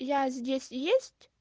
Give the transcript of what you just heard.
я здесь есть